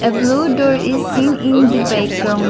blue door is seen in the background.